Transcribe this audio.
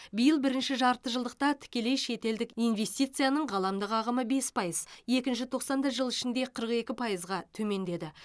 биыл бірінші жарты жылдықта тікелей шетелдік инвестицияның ғаламдық ағымы бес пайыз екінші тоқсанда жыл ішінде қырық екі пайызға төмендеді